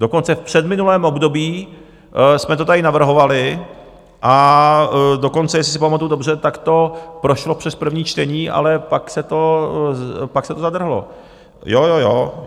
Dokonce v předminulém období jsme to tady navrhovali, a dokonce, jestli si pamatuju dobře, tak to prošlo přes první čtení, ale pak se to zadrhlo, jo, jo, jo.